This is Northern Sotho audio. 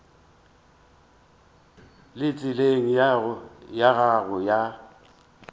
le tseleng ya go ya